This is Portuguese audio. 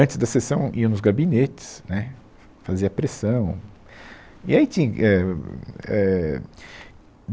Antes da sessão, iam nos gabinetes, né, fa fazia pressão. E aí tinha, ahn, é